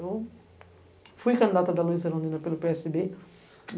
Eu fui candidata da Luiza Arandina pelo pê esse bê.